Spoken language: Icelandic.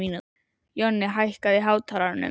Jonni, hækkaðu í hátalaranum.